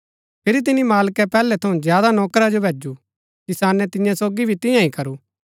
फिरी तिनी मालकै पैहलै थऊँ ज्यादा नौकरा जो भैजु किसाने तियां सोगी भी तियां ही करू